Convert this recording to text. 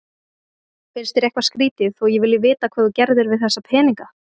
Finnst þér eitthvað skrýtið þó að ég vilji vita hvað þú gerðir við þessa peninga?